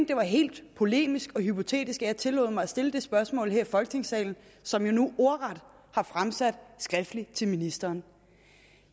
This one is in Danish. det var helt polemisk og hypotetisk at jeg tillod mig at stille det spørgsmål her i folketingssalen som jeg nu ordret har fremsat skriftligt til ministeren